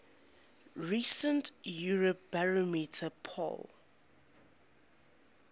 recent eurobarometer poll